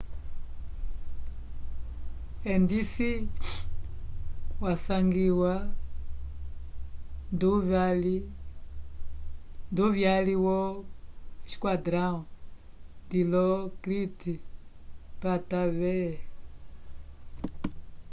endisi wasangiwa nduvyali wo esquadrão dilokrit pattavee